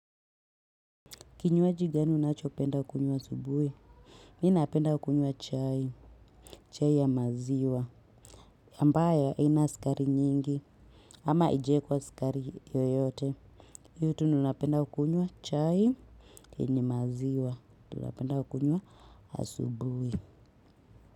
Kinywaji gani unachopenda kukunywa asubuhi? Mi napenda kukunywa chai. Chai ya maziwa. Ambayo haina sukari nyingi. Ama haijawekwa sukari yoyote. Hiyo tu ndo napenda kukunywa chai. Yenye maziwa. Ndio napenda kukunywa asubuhi.